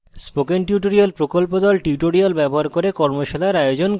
spoken tutorial প্রকল্প the tutorial ব্যবহার করে কর্মশালার আয়োজন করে